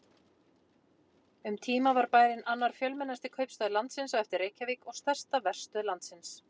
Um tíma var bærinn annar fjölmennasti kaupstaður landsins á eftir Reykjavík og stærsta verstöð landsins.